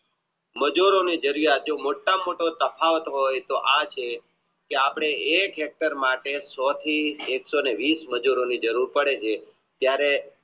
મજૂરો અને મોટા માં મોટો તફાવત હોય તો આ છે કે અપને એક Tractor માટે જ એક સો ને વિસ મજૂરોની જરીઉર પડે છે જયારે